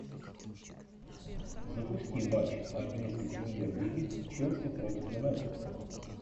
запусти матч английской премьер лиги челси против юнайтед